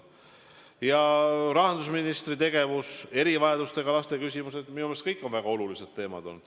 Ja rahandusministri tegevus, erivajadustega laste küsimused – minu meelest need kõik on väga olulised teemad.